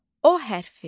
O hərfi.